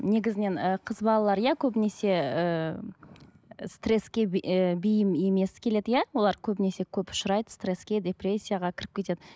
негізінен ы қыз балалар иә көбінесе ыыы стресске ы бейім емес келеді иә олар көбінесе көп ұшырайды стресске депрессияға кіріп кетеді